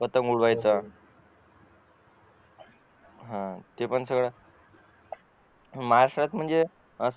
पतंग उडवायचा हा तेपण महाराष्ट्रात म्हणजे